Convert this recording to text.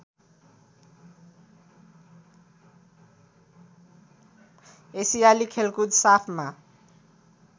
एसियाली खेलकुद साफमा